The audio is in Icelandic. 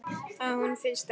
Að hún finnist ekki.